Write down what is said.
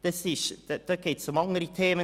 Dort geht es um andere Themen.